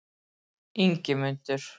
Ingimundur